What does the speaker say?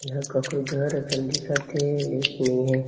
एहर ककरों घर जैसन दिखत हेलेकिन नई हे।